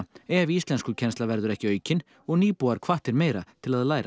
ef íslenskukennsla verður ekki aukin og nýbúar hvattir meira til að læra